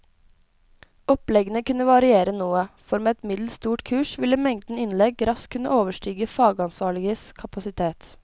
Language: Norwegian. Oppleggene kunne variere noe, for med et middels stort kurs ville mengden innlegg raskt kunne overstige fagansvarliges kapasitet.